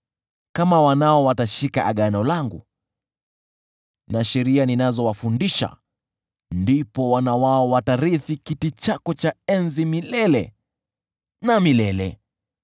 kama wanao watashika Agano langu na sheria ninazowafundisha, ndipo wana wao watarithi kiti chako cha enzi milele na milele.”